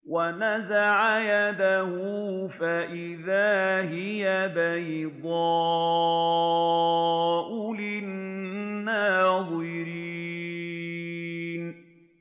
وَنَزَعَ يَدَهُ فَإِذَا هِيَ بَيْضَاءُ لِلنَّاظِرِينَ